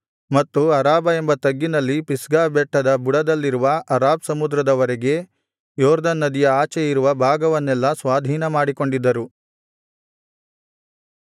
ಅರಾಬಾ ಎಂಬ ತಗ್ಗಿನಲ್ಲಿ ಪಿಸ್ಗಾ ಬೆಟ್ಟದ ಬುಡದಲ್ಲಿರುವ ಅರಾಬ್ ಸಮುದ್ರದ ವರೆಗೆ ಯೊರ್ದನ್ ನದಿಯ ಆಚೆ ಇರುವ ಭಾಗವನ್ನೆಲ್ಲಾ ಸ್ವಾಧೀನಮಾಡಿಕೊಂಡಿದ್ದರು